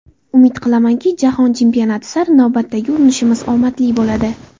Umid qilamanki, jahon chempionati sari navbatdagi urinishimiz omadli bo‘ladi.